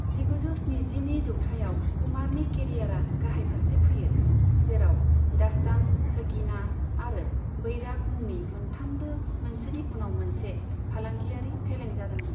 जिगुजौ स्निजिनि जौथायाव कुमारनि केरियारा गाहाय फारसे फैयो, जेराव 'दास्तान', 'सगीना' आरो 'बैराग' मुंनि मोनथामबो मोनसेनि उनाव मोनसे फालांगियारि फेलें जादोंमोन।